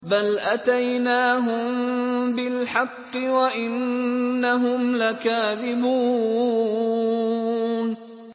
بَلْ أَتَيْنَاهُم بِالْحَقِّ وَإِنَّهُمْ لَكَاذِبُونَ